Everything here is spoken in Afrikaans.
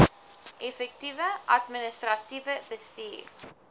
effektiewe administratiewe bestuur